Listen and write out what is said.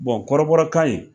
kɔrɔbɔrɔkan in